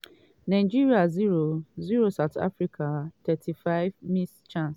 nigeria 0-0 south africa 35' missed chance!